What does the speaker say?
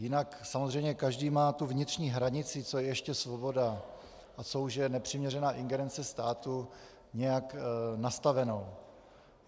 Jinak samozřejmě každý má tu vnitřní hranici, co je ještě svoboda a co už je nepřiměřená ingerence státu, nějak nastavenu.